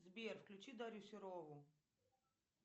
сбер включи дарью серову